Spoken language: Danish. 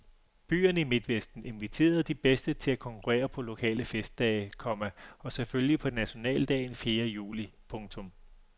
Byerne i midtvesten inviterede de bedste til at konkurrere på lokale festdage, komma og selvfølgelig på nationaldagen fjerde juli. punktum